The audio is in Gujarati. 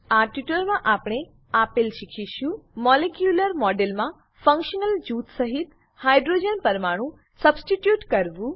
આ ટ્યુટોરીયલમાં આપણે આપેલ શીખીશું મોલેક્યુલર મોડેલમાં ફંક્શનલ જૂથ સહીત હાઇડ્રોજન પરમાણુ સબસ્ટીટ્યુટ કરવું